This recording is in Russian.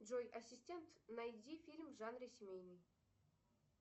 джой ассистент найди фильм в жанре семейный